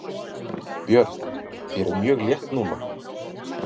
Björn: Þér er mjög létt núna?